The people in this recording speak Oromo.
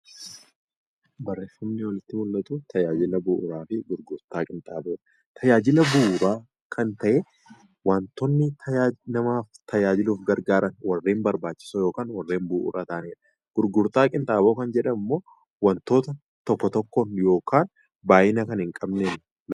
Barreeffamni asirratti mul'atu tajaajila bu'uuraa fi gurgurtaa qinxaaboodha. Tajaajila bu'uuraa kan ta’e wantoota nama tajaajluuf barbaachisan warreen narbaachisoo yookaan bu'uura ta'anidha. Gurgurtaa qinxaaboo lan jedhamu immoo wantoota tokko tokko yookaan baay'ina kan hin qabnedha.